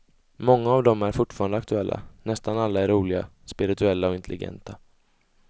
Många av dem är fortfarande aktuella, nästan alla är roliga, spirituella och intelligenta.